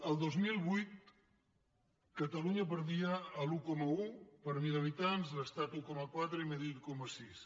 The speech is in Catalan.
el dos mil vuit catalunya perdia l’un coma un per mil habitants l’estat un coma quatre i madrid un coma sis